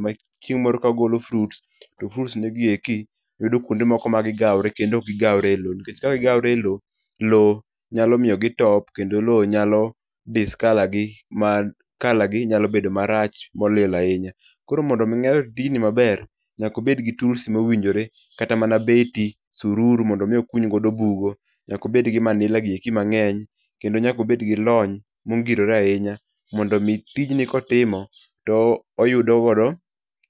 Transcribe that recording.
maching moro ka ogolo fruits to fruits gi yudo kwonde moko ma gigawore kendo ok gi gawre elo, nikech ka gigawore eloo, loo nyalo miyo gitop kendo nyalo discolour gi ma colour gi nyalo bedo marach molil ahinya. Koro mondo mi ng'ato otim tijni maber, nyaka obed gi tools mowinjore kata mana beti, sururu mondo mi okuny go bugo , nyaka obed gi manila gi mang'eny kendo nyaka obed gi lony mongirore ahinya, mondo mi tijni kotimo to oyudo go